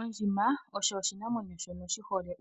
Ondjima osho oshi namwenyo shono shi hole